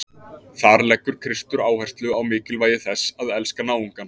Þar leggur Kristur áherslu á mikilvægi þess að elska náungann.